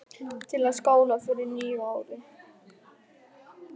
Til að skála í fyrir nýju ári.